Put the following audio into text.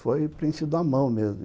Foi preenchido à mão mesmo.